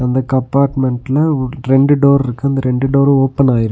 அந்த கப்பாட்மெண்ட்ல உ ரெண்டு டோர்ருக்கு அந்த ரெண்டு டோரு ஓபனாயிருக்கு .